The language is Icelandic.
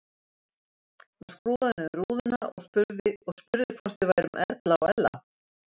Hann skrúfaði niður rúðuna og spurði hvort við værum Erla og Ella.